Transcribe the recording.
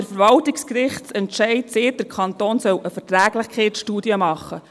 Der Verwaltungsgerichtsentscheid sagt, der Kanton solle eine Verträglichkeitsstudie machen.